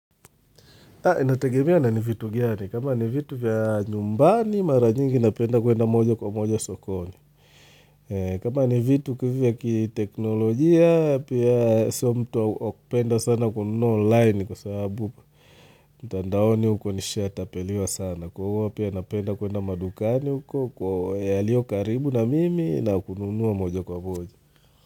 Inategemea na ni vitu gani. Kama ni vitu vya nyumbani, mara nyingi napenda kwenda moja kwa moja sokoni. Kama ni vitu vya kiteknolojia, pia soo mtu wa kupenda sana kununua online kwa sababu mtandaoni huko nishatapeliwa sana. Kwa hiyo huwa pia napenda kwenda madukani huko, yaliyo karibu na mimi na kununuwa moja kwa moja.